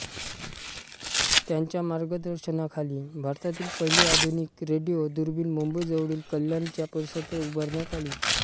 त्यांच्या मार्गदर्शनाखाली भारतातील पहिली आधुनिक रेडिओ दुर्बीण मुंबई जवळील कल्याणच्या परिसरात उभारण्यात आली